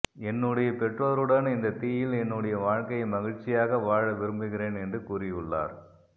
என்னுடைய பெற்றோருடன் இந்தத் தீயில் என்னுடைய வாழ்க்கையை மகிழ்ச்சியாக வாழ விரும்புகிறேன் என்று கூறியுள்ளார்